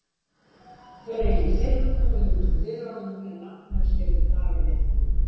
Þau eru ekki fyrr komin út úr dyrunum en Agnes gefur Davíð einkunn.